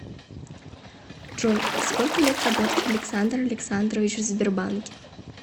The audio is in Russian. джой сколько лет работает александр александрович в сбербанке